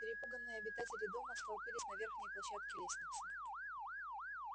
перепуганные обитатели дома столпились на верхней площадке лестницы